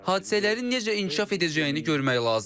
Hadisələrin necə inkişaf edəcəyini görmək lazımdır.